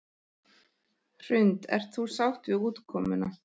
Hrund: Ert þú sátt við útkomuna?